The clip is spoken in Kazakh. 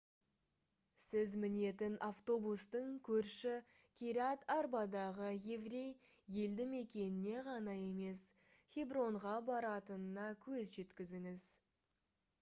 сіз мінетін автобустың көрші кирят-арбадағы еврей елді мекеніне ғана емес хебронға баратынына көз жеткізіңіз